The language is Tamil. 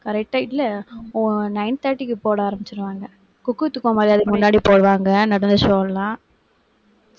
correct ஆ இல்லை ஒ nine thirty க்கு போட ஆரம்பிச்சிடுவாங்க. cook with கோமாளி அதுக்கு முன்னாடி போடுவாங்க, நடந்த show எல்லாம்